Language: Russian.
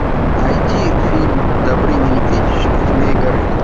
найти фильм добрыня никитич и змей горыныч